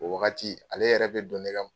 O wagati ale yɛrɛ bɛ don ne ka